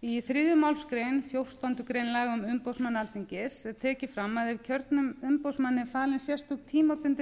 í þriðju málsgrein fjórtándu grein laga um umboðsmann alþingis er tekið fram að ef kjörnum umboðsmanni eru falin sérstök tímabundin